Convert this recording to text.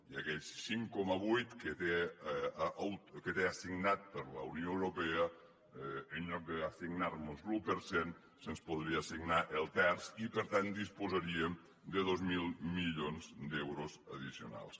i aquell cinc coma vuit que té assignat per la unió europea en lloc d’assignar mos l’un per cent se’ns podria assignar el terç i per tant disposaríem de dos mil milions d’euros addicionals